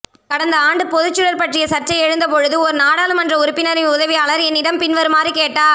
கடந்த ஆண்டு பொதுச்சுடர் பற்றிய சர்ச்சை எழுந்த பொழுது ஒரு நாடாளுமன்ற உறுப்பினரின் உதவியாளர் என்னிடம் பின்வருமாறு கேட்டார்